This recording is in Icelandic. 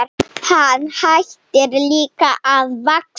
Hann hætti líka að vaxa.